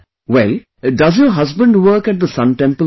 Well, does your husband work at the Sun Temple there